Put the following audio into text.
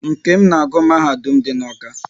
Nkem na agụ n'mahadum dị n'Awka